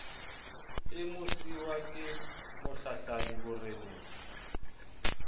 e bmosiuwa ke mohlahlami boreneng